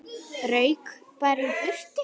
Rauk bara í burtu.